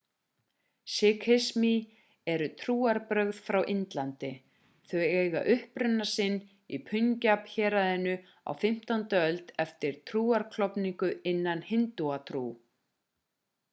sikhismi eru trúarbrögð frá indlandi þau eiga uppruna sinn í punjab-héraðinu á 15. öld eftir trúarklofningu innan hindúatrú